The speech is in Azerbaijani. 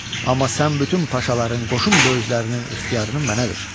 Amma sən bütün paşaların qoşun böyüklərinin ixtiyarını mənə ver.